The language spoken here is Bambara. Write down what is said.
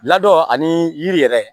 Ladon ani yiri yɛrɛ